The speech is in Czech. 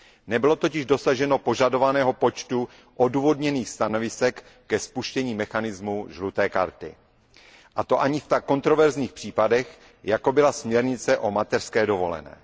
Nebylo totiž dosaženo požadovaného počtu odůvodněných stanovisek ke spuštění mechanismu žluté karty, a to ani v tak kontroverzních případech, jako byla směrnice o mateřské dovolené.